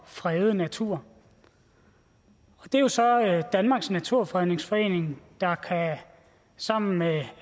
frede natur det er jo så danmarks naturfredningsforening der sammen med